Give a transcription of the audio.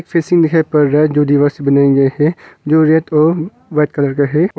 Fencing दिखाई पड़ रहा है जो दीवार सा बनाया गया है जो रेड और वाइट कलर का है।